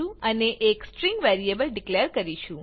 અને એક string variable declare કરીશું